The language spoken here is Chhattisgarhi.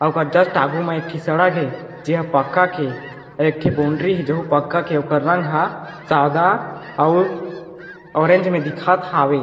ओ कर जस्ट आगू मे एक टी सड़क हे जे ह पका के एक टी बॉउंड्री हे जे पक्का के ओकर रंग ह सादा अउ ऑरेंज मे दिखत हावे।